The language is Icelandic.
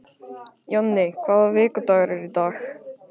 Jonni, hvaða vikudagur er í dag?